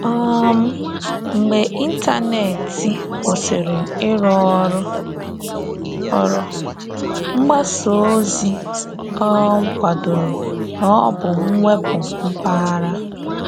um Mgbe ịntanetị kwụsịrị ịrụ ọrụ, ọrụ, mgbasa ozi um kwadoro na ọ bụ mwepu mpaghara.